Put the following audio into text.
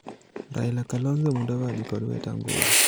Raila, Kalonzo, Mudavadi kod Wetang'ula